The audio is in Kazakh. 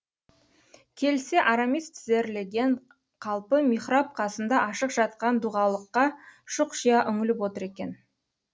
келсе арамис тізерлеген қалпы михраб қасында ашық жатқан дұғалыққа шұқшия үңіліп отыр екен